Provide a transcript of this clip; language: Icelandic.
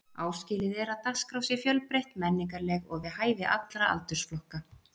Áskilið er að dagskrá sé fjölbreytt, menningarleg og við hæfi allra aldursflokka.